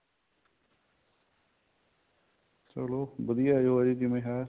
ਚਲੋ ਵਧੀਆ ਹੈ ਜਿਵੇਂ ਹੈ